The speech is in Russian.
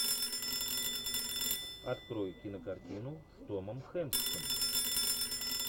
открой кинокартину с томом хэнксом